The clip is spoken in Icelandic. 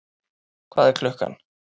Hvað er klukkan?